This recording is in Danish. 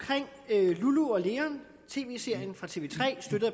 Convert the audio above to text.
lulu og leon tv serien fra tv tre støttet